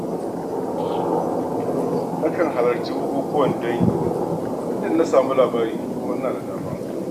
Nakan halarci bukukuwan dangi muddun na samu labari kuma ina da dama.